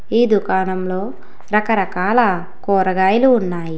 ఈ దుకాణంలో రకరకాల కూరగాయలు ఉన్నాయి.